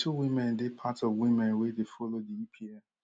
di two women dey part of women wey dey follow di epl